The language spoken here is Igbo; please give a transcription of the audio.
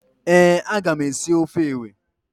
Ee, a ga m esi ofe ewe.